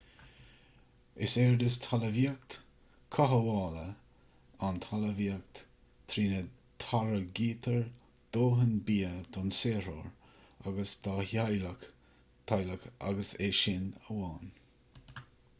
is éard is talmhaíocht chothabhála ann talmhaíocht trína dtáirgtear dóthain bia don saothróir agus dá theaghlach/teaghlach agus é sin amháin